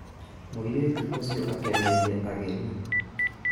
Mũirĩtu ũcio akeneire ageni